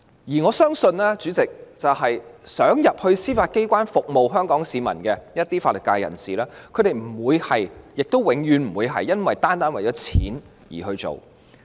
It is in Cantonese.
而我相信，主席，一些想加入司法機關服務香港市民的法律界人士，他們不會——亦永遠不會——單單是為了金錢而加入。